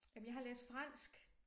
Jamen jeg har læst fransk